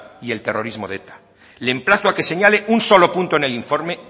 y el terrorismo de eta le emplazo a que señale un solo punto en el informe